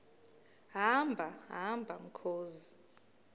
hamba hamba mkhozi